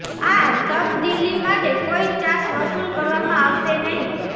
આ તબદીલી માટે કોઇ ચાર્જ વસૂલ કરવામાં આવશે નહી